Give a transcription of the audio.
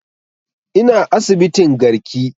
Ina asibitin garki